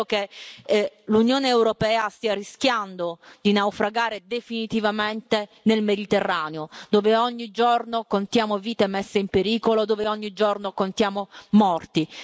Io credo che l'Unione europea stia rischiando di naufragare definitivamente nel Mediterraneo, dove ogni giorno contiamo vite messe in pericolo, dove ogni giorno contiamo morti.